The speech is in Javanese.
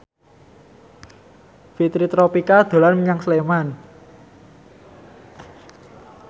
Fitri Tropika dolan menyang Sleman